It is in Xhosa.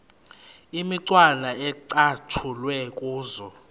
imicwana ecatshulwe kuzo